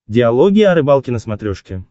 диалоги о рыбалке на смотрешке